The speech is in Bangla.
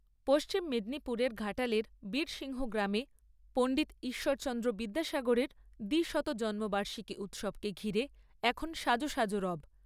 পশ্চিম মেদিনীপুরের ঘাটালের বীরসিংহ গ্রামে, পণ্ডিত ঈশ্বরচন্দ্র বিদ্যাসাগরের দ্বিশত জন্মবার্ষিকী উৎসবকে ঘিরে এখন সাজো সাজো রব।